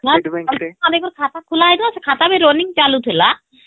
ହମ୍ଖାତା ଖୁଲା ହେଇଥିଲା ସେ ଖାତା ବି running ଚାଲୁଥିଲା ....